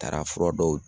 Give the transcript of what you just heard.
Taara fura dɔw